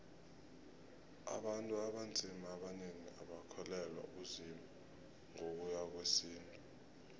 abantu abanzima abanengi abakholelwa kuzimu ngokuya ngowesintu